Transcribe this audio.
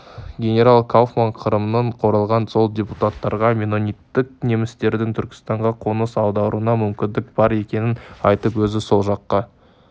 генерал кауфман қырымнан оралған соң депутаттарға меннониттік немістердің түркістанға қоныс аударуына мүмкіндік бар екенін айтып өзі сол жаққа